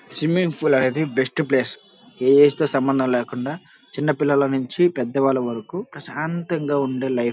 Swimming pool అనేది best place ఏం సమందం లేకుండా చిన్న పిల్లల్లా నుండి పెద్దవాళ్లు వరుకు ప్రశాంతంగా ఉండే లైఫ్ .